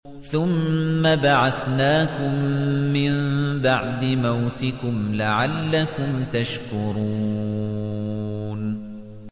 ثُمَّ بَعَثْنَاكُم مِّن بَعْدِ مَوْتِكُمْ لَعَلَّكُمْ تَشْكُرُونَ